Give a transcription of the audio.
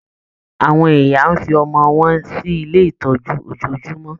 Àwọn ìyá ń fi ọmọ wọn sí ilé itọju ojojúmọ́